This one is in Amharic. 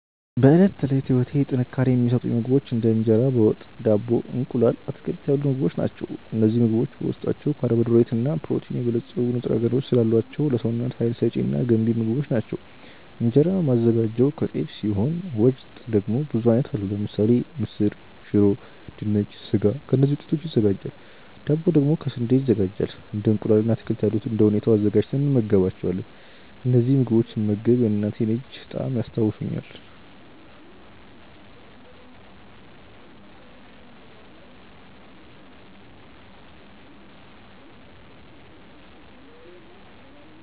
በዕለት ተዕለት ህይወቴ ጥንካሬ የሚሰጡኝ ምግቦች እንደ እንጀራ በ ወጥ፣ ዳቦ፣ እንቁላል፣ አትክልት ያሉ ምግቦች ናቸው። እነዚህ ምግቦች በውስጣቸው ካርቦሃይድሬት እና በፕሮቲን የበለፀጉ ንጥረ ነገሮች ስላሏቸው ለሰውነት ሀይል ሰጪ እና ገንቢ ምግቦች ናቸው። እንጀራ ማዘጋጀው ከጤፍ ሲሆን ወጥ ደግሞ ብዙ አይነት አሉ ለምሳሌ ምስር፣ ሽሮ፣ ድንች፣ ስጋ ከእነዚህ ውጤቶች ይዘጋጃል ዳቦ ደግሞ ከ ስንዴ ይዘጋጃል እንደ እንቁላል እና አትክልት ያሉት እንደ ሁኔታው አዘጋጅተን እንመገባቸዋለን። እነዚህን ምግቦች ስመገብ የእናቴን እጅ ጣዕም ያስታውሱኛል።